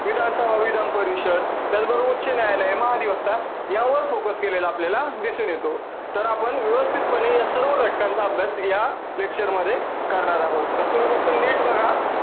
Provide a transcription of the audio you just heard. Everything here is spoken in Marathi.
विधान सभा, विधान परिषद त्याच बरोबर उच्च न्यायालय, न्याय व्यवस्था यावर focus केलेला आपल्याला दिसून येतो. तर आपण व्यवस्थित पने सर्व lecture चा अभ्यास या lecture मध्ये करणार आहोत. तर तुम्ही lecture नीट बघा.